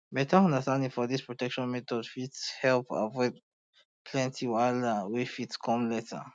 beta understanding for this protection methods fit um help um avoid plenty wahala wey fit come later